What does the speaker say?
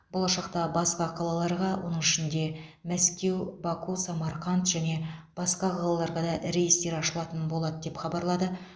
болашақта басқа қалаларға оның ішінде мәскеу баку самарқанд және басқа қалаларғада рейстер ашылатын болады деп хабарлады